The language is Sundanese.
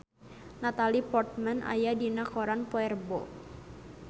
Natalie Portman aya dina koran poe Rebo